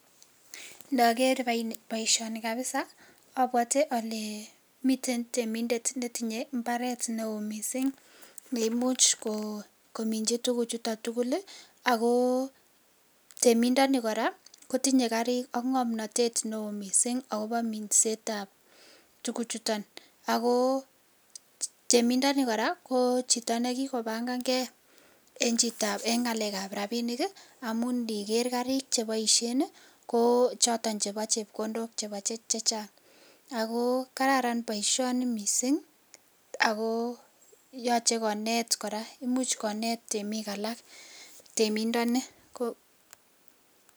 Nager baishoni kabisa abwate ale miten temindet netinye imbaret neon mising neimuche kominchi tuguk chuton tugul ako emindoni koraa kotinye Karik AK ngamnatet neo mising ako Minet ab tuguk chuton ako temindoni koraa Chito nekikobangan gei en ngalek ab rabinik niker karit nebaishen ko choton chebo chepkondok chechang ako kararan baishoni mising ako yache konet bik anan ko temik alak temindoni